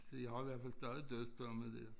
De har i hvert fald stadig dødsdomme dér